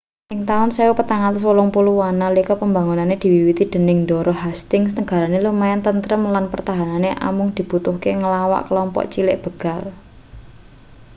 ing taun 1480an nalika pembangunane diwiwiti dening ndara hastings negarane lumayan tentrem lan pertahanane amung dibutuhne nglawan kelompok cilik begal